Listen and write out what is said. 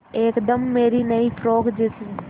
एकदम मेरी नई फ़्रोक जैसी